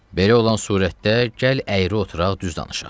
Belə olan surətdə gəl əyri oturaq düz danışaq.